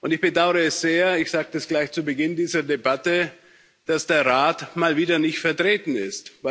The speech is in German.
Ich bedaure es sehr und ich sage das gleich zu Beginn dieser Debatte dass der Rat mal wieder nicht vertreten ist.